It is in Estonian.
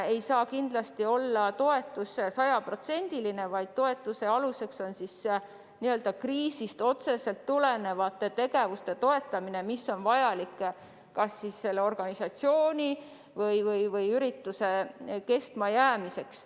Kindlasti ei saa toetust maksta sajaprotsendiliselt, vaid toetatakse kriisist otseselt tegevusi, mille puhul toetus on vajalik kas organisatsiooni või ürituse kestmajäämiseks.